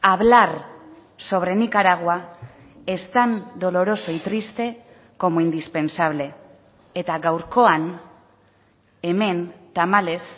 hablar sobre nicaragua es tan doloroso y triste como indispensable eta gaurkoan hemen tamalez